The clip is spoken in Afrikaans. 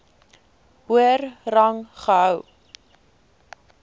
hoër rang gehou